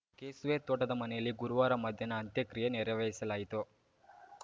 ಕೆಸುವೆ ತೋಟದಮನೆಯಲ್ಲಿ ಗುರುವಾರ ಮಧ್ಯಾಹ್ನ ಅಂತ್ಯಕ್ರಿಯೆ ನೆರವೇರಿಸಲಾಯಿತು